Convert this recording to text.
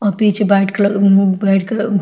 अ पीछे white colour अ white colour आ--